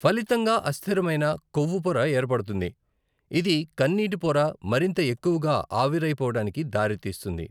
ఫలితంగా అస్థిరమైన కొవ్వు పొర ఏర్పడుతుంది, ఇది కన్నీటి పొర మరింత ఎక్కువగా ఆవిరైపోవడానికి దారి తీస్తుంది.